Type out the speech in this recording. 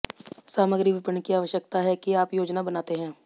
सामग्री विपणन की आवश्यकता है कि आप योजना बनाते हैं